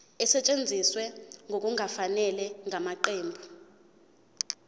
esetshenziswe ngokungafanele ngamaqembu